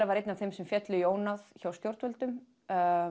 var einn af þeim sem féllu í ónáð hjá stjórnvöldum